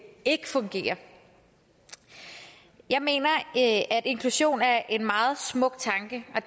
ikke fungerer jeg mener at inklusion er en meget smuk tanke og